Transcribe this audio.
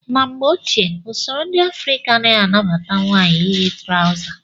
Na mgbe ochie, usoro ndị Afrịka anaghị anabata nwaanyị iyi trawza.